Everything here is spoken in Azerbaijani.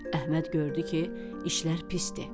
Əhməd gördü ki, işlər pisdir.